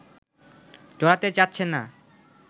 জড়াতে চাচ্ছে না